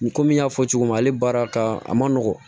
Komi n y'a fɔ cogo min na ale baara ka a ma nɔgɔn